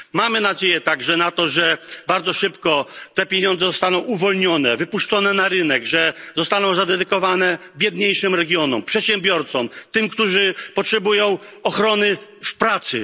Mamy nadzieję także na to, że bardzo szybko te pieniądze zostaną uwolnione, wypuszczone na rynek, że zostaną zadedykowane biedniejszym regionom, przedsiębiorcom, tym, którzy potrzebują ochrony w pracy.